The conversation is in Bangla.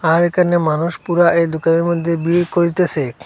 আর এখানে মানুষ পুরা এই দোকানের মধ্যে ভিড় করিতেসে।